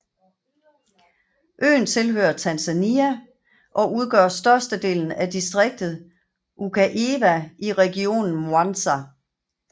Øen tilhører Tanzania og udgør størstedelen af distriktet Ukerewe i regionen Mwanza